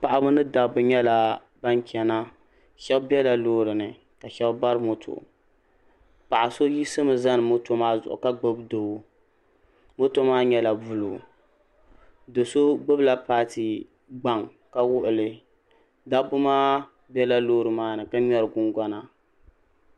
paɣaba ni dabba nyɛla ban chɛna shab biɛla loori ni ka shab bari moto paɣa so yiɣisi mi zani moto maa zuɣu ka gbubi doo moto maa nyɛla buluu do so gbubila paati gbaŋ ka wuɣili dabba maa biɛla loori maa ni ka ŋmɛri gungona